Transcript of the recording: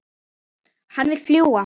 Hann vill fljúga.